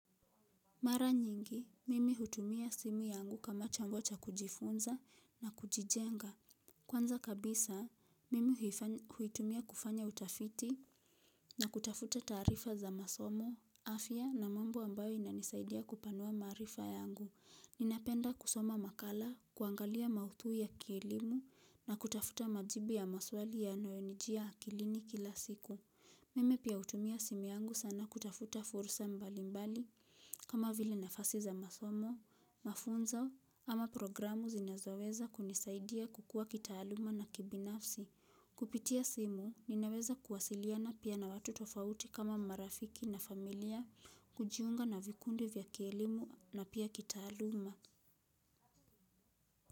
Mara nyingi, mimi hutumia simu yangu kama chombo cha kujifunza na kujijenga. Kwanza kabisa, mimi huitumia kufanya utafiti na kutafuta taarifa za masomo, afya na mambo ambayo inanisaidia kupanua maarifa yangu. Ninapenda kusoma makala, kuangalia mauthui ya kilimo na kutafuta majibu ya maswali yanayonijia akilini kila siku. Mimi pia hutumia simu yangu sana kutafuta fursa mbali mbali kama vile nafasi za masomo, mafunzo ama programu zinazoweza kunisaidia kukua kitaaluma na kibinafsi. Kupitia simu ninaweza kuwasiliana pia na watu tofauti kama marafiki na familia kujiunga na vikundi vya kielimu na pia kitaaluma.